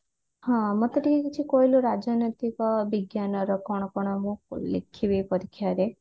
ହଁ ମତେ ଟିକେ କହିଲୁ ରାଜନୈତିକ ବିଜ୍ଞାନ ର କଣ କଣ ମୁଁ ଲେଖିବି ପରୀକ୍ଷା ରେ